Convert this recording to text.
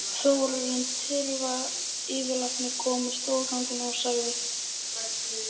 Þórarinn Tyrfingsson yfirlæknir kom á stofugang og sagði